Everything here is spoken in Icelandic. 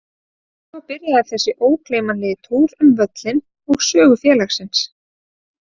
Svo byrjaði þessi ógleymanlegi túr um völlinn og sögu félagsins.